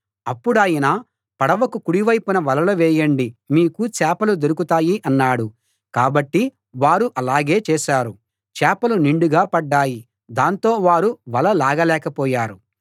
అప్పుడాయన పడవకు కుడి వైపున వలలు వేయండి మీకు చేపలు దొరుకుతాయి అన్నాడు కాబట్టి వారు అలాగే చేశారు చేపలు నిండుగా పడ్డాయి దాంతో వారు వల లాగలేకపోయారు